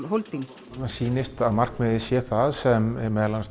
Holding mér sýnist að markmiðið sé það sem meðal annars